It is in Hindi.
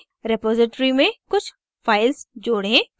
रेपॉज़िटरी में कुछ files जोडें